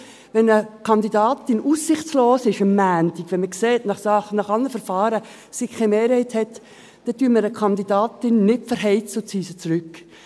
Wenn eine Kandidatin am Montag aussichtslos ist, wenn man nach allen Verfahren sieht, dass sie keine Mehrheit hat, dann verheizen wir eine Kandidatin nicht und ziehen sie zurück.